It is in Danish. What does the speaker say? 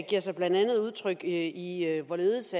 giver sig blandt andet udtryk i hvorledes